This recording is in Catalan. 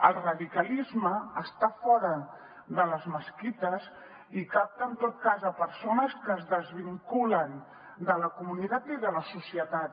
el radicalisme està fora de les mesquites i capta en tot cas persones que es desvinculen de la comunitat i de la societat